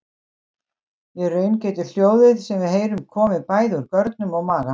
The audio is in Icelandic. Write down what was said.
Í raun getur hljóðið sem við heyrum komið bæði úr görnum og maga.